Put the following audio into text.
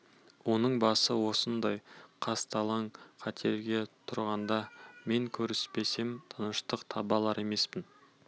оның басы осындай қысталаң қатерде тұрғанда мен көріспесем тыныштық таба алар емеспін